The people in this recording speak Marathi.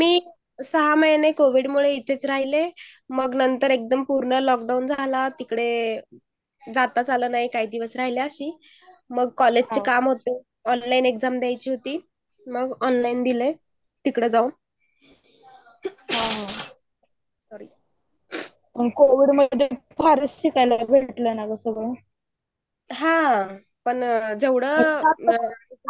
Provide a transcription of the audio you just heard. मी सहा महिने कोविडमुळे इथेच राहिले. मग एक्दाचम पूर्ण लोकडाऊन झालं मग तिकडे जाताच आला नाही काहीदिवस राहिले असतील. मग कॉलेज चे मोठे एक्साम द्यायची होती. मग ऑनलाईन दिल तिकडं जाऊन. कोवीड मूळ फारच शिकायला भेटलं ना ग सगळं हहा पण सगळं. हा हा जेव्हडं